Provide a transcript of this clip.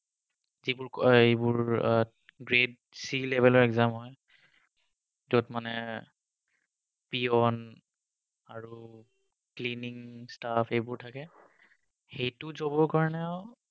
আহ এইবোৰ grade three level ৰ exam হয় যত মানে peon আৰু cleaning staff এইবোৰ থাকে সেইটো job ৰ কাৰণেও